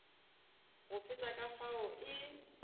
go feta ka fao e